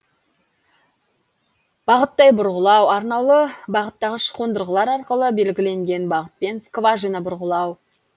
бағыттай бұрғылау арнаулы бағыттағыш қондырғылар арқылы белгіленген бағытпен скважина бұрғылау